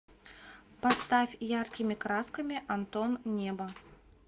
поставь яркими красками антон небо